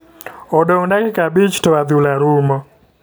Odong dakika abich to adhula rumo.